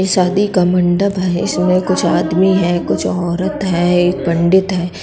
ये शादी का मंडप है। इसमें कुछ आदमी हैंकुछ औरत हैं एक पंडित है।